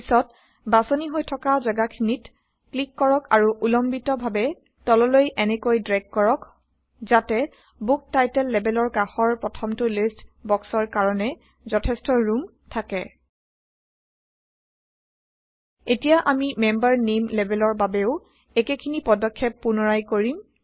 পিছত বাচনি হৈ থকা জাগাখিনিত ক্লিক কৰক আৰু উলম্বিক ভাৱে তললৈ এনেকৈ ড্ৰেগ কৰক যাতে বুক টাইটল লেবেলৰ কাষৰ প্ৰথমটো লিষ্ট বক্সৰ কাৰণে যথেষ্ট ৰোম থাকে এতিয়া আমি মেম্বাৰ নেইম লেবেলৰ বাবেও একেখিনি পদক্ষেপ পুনৰাই কৰিম